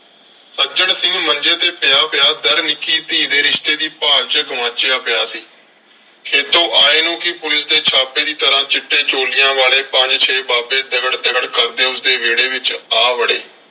ਸੱਜਣ ਸਿੰਘ ਮੰਜੇ ਤੇ ਪਿਆ ਪਿਆ . ਨਿੱਕੀ ਧੀ ਦੇ ਰਿਸ਼ਤੇ ਦੀ ਭਾਲ ਚ ਗੁਆਚਿਆ ਪਿਆ ਸੀ। ਖੇਤੋਂ ਆਏ ਨੂੰ ਵੀ ਪੁਲਿਸ ਦੇ ਛਾਪੇ ਦੀ ਤਰ੍ਹਾਂ ਚਿੱਟੇ ਚੋਲਿਆਂ ਵਾਲੇ ਪੰਜ ਛੇ ਬਾਬੇ ਦਗੜ ਦਗੜ ਕਰਦੇ ਉਸਦੇ ਵਿਹੜੇ ਵਿਚ ਆ ਵੜੇ।